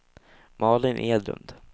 Malin Edlund